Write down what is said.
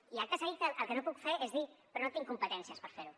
i acte seguit el que no puc fer és dir però no tinc competències per fer ho